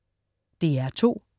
DR2: